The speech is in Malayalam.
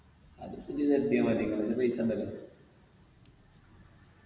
അതിപ്പൊ നി കെട്ടിയ മതി ഇങ്ങളടത്ത് പൈസ ഇണ്ടല്ലോ